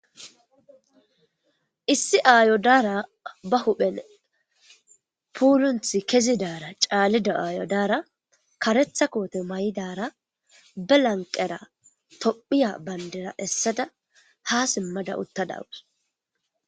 Issi aayo daara ba huphen puulunthi kezidaara caalida aayo daara karetha koote mayidaara be lanqera tophiya banddira essada ha simmada utta da7awus.